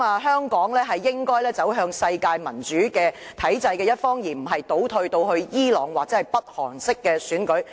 香港應該走向世界民主體制的一方，而非倒退至伊朗或北韓式的選舉。